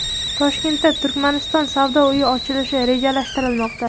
Toshkentda Turkmaniston savdo uyi ochilishi rejalashtirilmoqda.